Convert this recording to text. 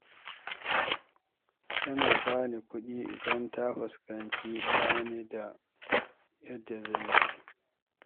Tana ba ni kuɗi idan ta fuskanci ba ni da yadda zan yi.